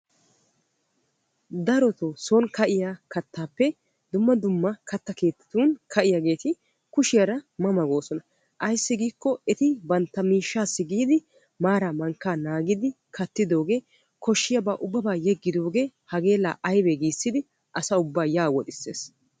darotoo son ka'iya kataappe dumma dumma katta keettatun ka'iyaageeti kushiyara mama goosona. ayssi giikko eti bantta miishshassi giidi maaraa mankkaa naagidi kattidoogee koshiyaabaa ubbabaa yeggidoogee hagee laa aybee giissidi asa ubaa yaa woxxisees.